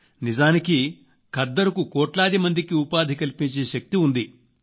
నిజానికి ఖద్దరుకు కోట్లాది మందికి ఉపాధి కల్పించే శక్తి ఉంది